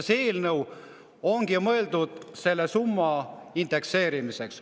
See eelnõu ongi mõeldud selle summa indekseerimiseks.